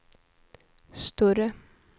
större